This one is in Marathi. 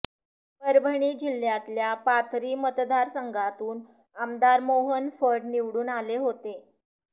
परभणी जिल्ह्यातल्या पाथरी मतदारसंघातून आमदार मोहन फड निवडून आले होते